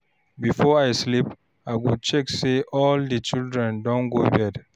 Before I sleep, I go check say all the children don go bed.